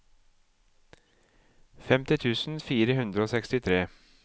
femti tusen fire hundre og sekstitre